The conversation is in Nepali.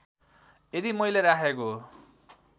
यदि मैले राखेको